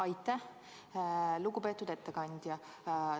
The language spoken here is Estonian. Aitäh, lugupeetud ettekandja!